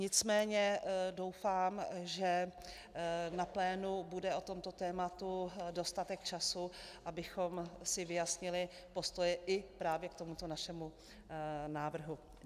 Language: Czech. Nicméně doufám, že na plénu bude o tomto tématu dostatek času, abychom si vyjasnili postoj i právě k tomuto našemu návrhu.